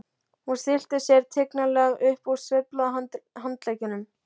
Hún stillti sér tignarlega upp og sveiflaði handleggjunum.